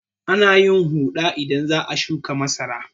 Ana yin huɗa idan za a shuƙa masara.